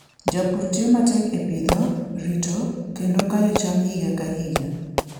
Jopur tiyo matek e pidho, rito, kendo kayo cham higa ka higa.